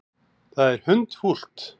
Það er hundfúlt.